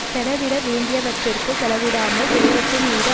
செலவிட வேண்டியவற்றிற்குச் செலவிடாமல் செல்வத்தின் மீது